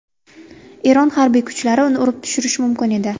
Eron harbiy kuchlari uni urib tushirishi mumkin edi.